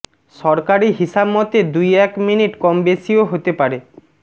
সরকারি হিসাব মতে দুই এক মিনিট কম বেশিও হতে পারে